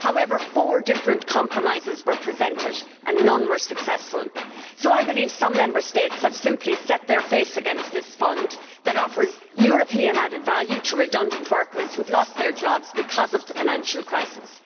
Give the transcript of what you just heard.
However, four different compromises were presented and none were successful, so I believe some Member States have simply set their face against this fund, which offers European added value to redundant workers who have lost their jobs because of the financial crisis.